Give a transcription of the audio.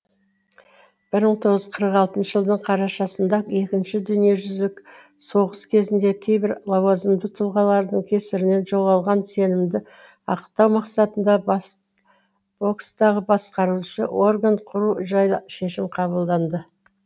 бір мың тоғыз жүз қырық алтыншы жылдың қарашасында екінші дүниежүзілік соғыс кезінде кейбір лауазымды тұлғалардың кесірінен жоғалған сенімді ақтау мақсатында бокстағы басқарушы орган құру жайлы шешім қабылданды